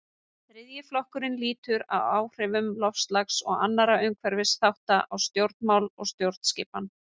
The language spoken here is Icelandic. Þriðji flokkurinn lýtur að áhrifum loftslags og annarra umhverfisþátta á stjórnmál og stjórnskipan.